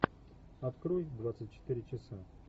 открой двадцать четыре часа